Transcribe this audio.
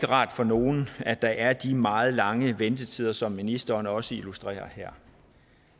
rart for nogen at der er de meget lange ventetider som ministeren også illustrerer her